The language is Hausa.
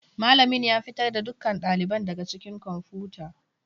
Malamin ya fitar da dukkan ɗaliban daga ɗakin kwamfuta.